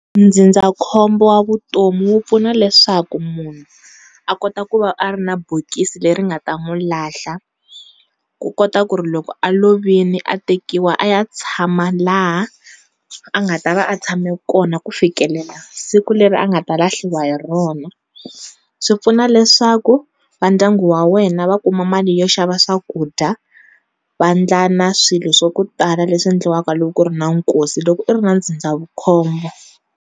Ndzindzakhombo wa vutomi wu pfuna leswaku munhu a kota ku va a ri na bokisi leri nga ta n'wu lahla ku kota ku ri loko a lovile a tekiwa a ya tshama laha a nga ta va a tshame kona ku fikelela siku leri a nga ta lahliwa hi rona swipfuna leswaku vandyangu wa wena wena va kuma mali yo xava swakudya va ndla na swilo swa ku tala leswi endliwaka loko ku ri na nkosi loko i ri na ndzindzakhombo.